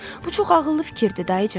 Bu çox ağıllı fikirdir, dayıcan.